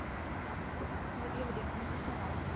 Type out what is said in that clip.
ਵਧੀਆ ਵਧੀਆ mam ਤੁਸੀਂ ਸਨਾਓ